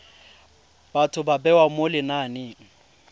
batho ba bewa mo lenaneng